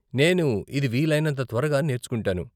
నేను ఇది వీలైనంత త్వరగా నేర్చుకుంటాను.